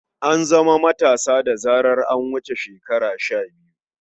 An zama matasa da zarar an wuce shekara shabiyu.